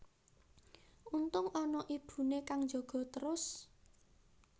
Untung ana ibune kang njaga trus